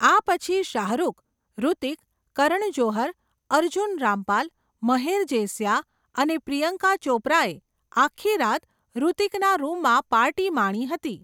આ પછી શાહરૂખ, હૃતિક, કરણ જોહર, અર્જુન રામપાલ, મહેર જેસિયા અને પ્રિયંકા ચોપરાએ આખી રાત હૃતિકના રૂમમાં પાર્ટી માણી હતી.